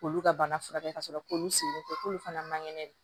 K'olu ka bana furakɛ ka sɔrɔ k'olu sen tɛ k'olu fana man kɛnɛ